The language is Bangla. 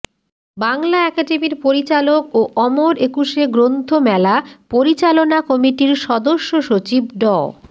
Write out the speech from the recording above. বাংলা একাডেমির পরিচালক ও অমর একুশে গ্রন্থমেলা পরিচালনা কমিটির সদস্য সচিব ড